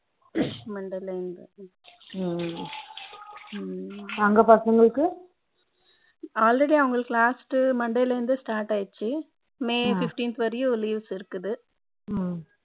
Monday ல இருந்து அங்க பசங்களுக்கு already அவங்களுக்கு last monday ல இருந்து start ஆயிடுச்சு may fifteenth வரையும் leaves இருக்குது